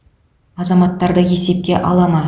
азаматтарды есепке ала ма